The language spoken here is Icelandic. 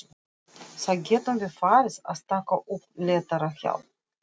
Þá getum við farið að taka upp léttara hjal!